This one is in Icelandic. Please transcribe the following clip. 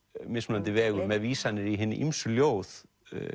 mismunandi vegu með vísanir í hin ýmsu ljóð